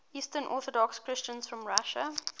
eastern orthodox christians from russia